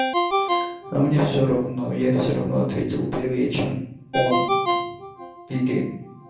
а мне всё равно я всё равно ответил первее чем он или